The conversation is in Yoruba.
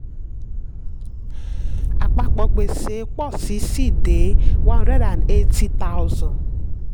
àpapọ̀ gbèsè pọ̀ sí i síi dé one hundred and eighty thousand